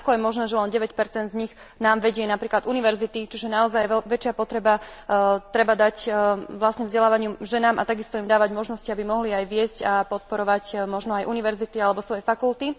Ako je možné, že len 9 z nich nám vedie napríklad univerzity, čiže naozaj väčšiu potrebu treba dať vzdelávaniu ženám a takisto im dávať možnosti, aby mohli aj viesť a podporovať možno aj univerzity alebo svoje fakulty.